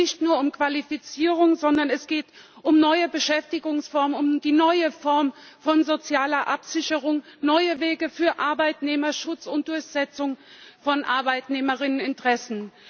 Da geht es nicht nur um Qualifizierung, sondern es geht um neue Beschäftigungsformen, um eine neue Form von sozialer Absicherung, um neue Wege für Arbeitnehmerschutz und die Durchsetzung von Arbeitnehmerinteressen.